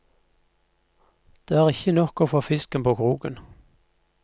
Det er ikke nok å få fisken på kroken.